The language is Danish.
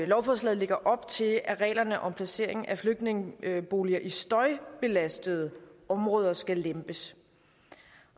lovforslaget lægger op til at reglerne om placering af flygtningeboliger i støjbelastede områder skal lempes